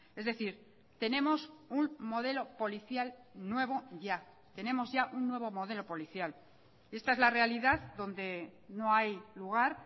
es decir tenemos un modelo policial nuevo ya tenemos ya un nuevo modelo policial y esta es la realidad donde no hay lugar